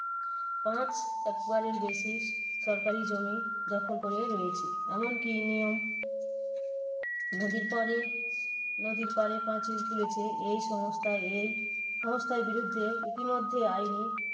পাঁচ একরের বেশি সরকারি জমি দখল করে রয়েছে। এমন কি নিয়ম নদীর পাড়ে নদীর পাড়ে পাঁচিল তুলেছে। এই সংস্থা এই সংস্থার বিরুদ্ধে ইতিমধ্যে আইনি